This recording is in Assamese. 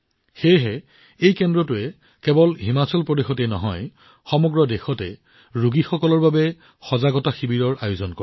সেয়েহে এই কেন্দ্ৰটোৱে কেৱল হিমাচল প্ৰদেশতেই নহয় সমগ্ৰ দেশতে ৰোগীসকলৰ বাবে সজাগতা শিবিৰৰ আয়োজন কৰে